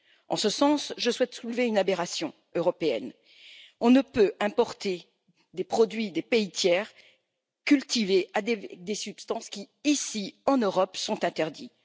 En ce sens, je souhaite soulever une aberration européenne on ne peut importer des produits cultivés dans des pays tiers avec des substances qui, ici en Europe, sont interdites.